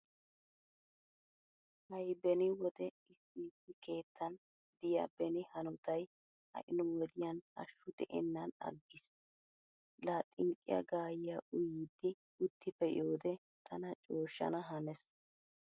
Hay beni wode issi issi keettan diya beni hanotay ha"i nu wodiyan hashshu de'ennan aggiis. Laa xiqqiya gaayyiya uyiiddi utti pee'iyode tana cooshhshana hanees.